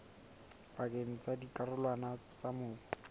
pakeng tsa dikarolwana tsa mobu